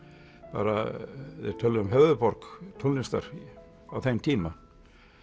bara talað um höfuðborg tónlistar á þeim tíma